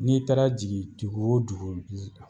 N'i taara jigin dugu o dugu bi